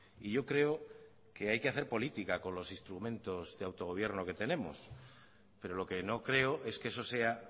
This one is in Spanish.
y yo creo que hay que hacer política con los instrumentos de autogobierno que tenemos pero lo que no creo es que eso sea